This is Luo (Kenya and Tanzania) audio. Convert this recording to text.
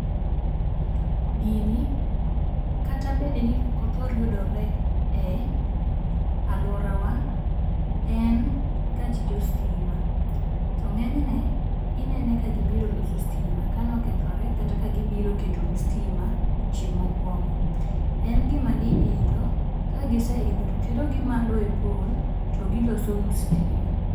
Gini kata bedni ok othor yudore e aluorawa, en gach jo sitima. To ng'enyne, inene ka gibiro loso sitima kanokethore kata kagibiro ketonu sitima odiechieng' mokuongo. En gima giidho, ka giseidho to terogi malo e pole to gilosonu sitima.